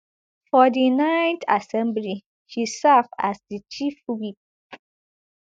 for di nineth assembly she serve as di chief whip